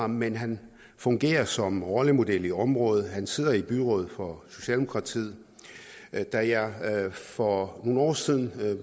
men han fungerer som rollemodel i området og han sidder i byrådet for socialdemokratiet da jeg for nogle år siden